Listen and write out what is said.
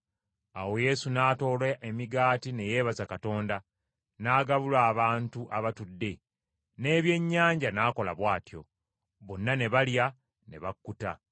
Awo Yesu n’atoola emigaati ne yeebaza Katonda, n’agabula abantu abatudde. N’ebyennyanja n’akola bw’atyo. Bonna ne balya ne bakkuta.